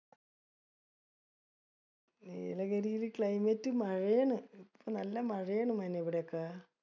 നീലഗിരിലെ climate മഴയാണ്. ഇപ്പൊ നല്ല മഴയാണ് മോനെ ഇവിടെയൊക്ക.